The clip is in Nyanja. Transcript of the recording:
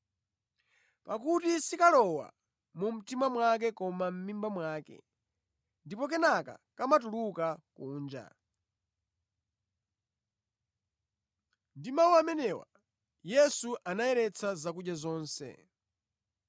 Pakuti sikalowa mu mtima wake koma mʼmimba mwake, ndipo kenaka kamatuluka kunja.” (Ndi mawu amenewa, Yesu anayeretsa zakudya zonse).